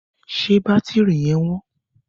Ṣé bátírí yẹn wọ́n?